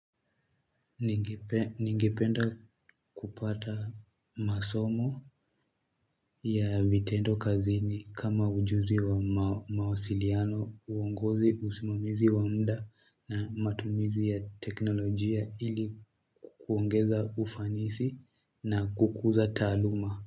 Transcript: Ningependa kupata masomo ya vitendo kazini kama ujuzi wa mawasiliano, uongozi, usimamizi wa mda na matumizi ya teknolojia ili kuongeza ufanisi na kukuza taaluma.